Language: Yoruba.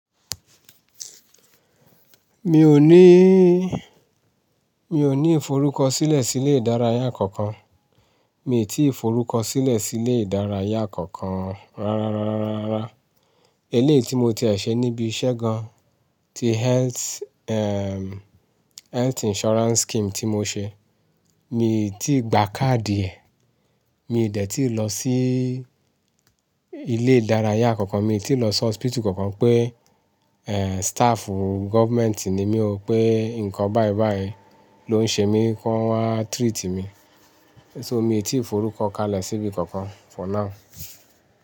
Mi ò ní, mi ò ní ìforúkọ sílẹ̀ sí ilé ìdárayá kankan. Mi ò tí ì forúkọ sílẹ̀ sí ilé ìdárayá kankan rárá, rárá, rárá. Eléyìí tí mo tiẹ̀ ṣe níbi iṣẹ́ gan-an ti health, health insurance scheme tí mo ṣe. Mi ò tí ì gba káàdì ẹ̀. Mi dé ti lo si ilé ìdárayá kánkan, mi ti lo si hospital kankan pé staff government ni mi o pe nǹkan báyìí báyìí lo n ṣe mi ko wa treat mi so mi ò tí ì forúkọ kalẹ̀ síbi kankan for now.